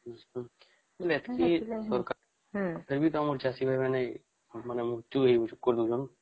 ଆଛା ମାନେ ଏଟକି ଦରକାର ଫିରବୀ ତମ ଚାଷୀ ଭାଇ ମାନେ ମାନେ